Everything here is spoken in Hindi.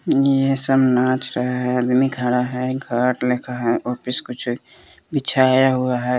ये सब नाच रहा है आदमी खड़ा है खाट लेखा है कुछ बिछाया हुआ है।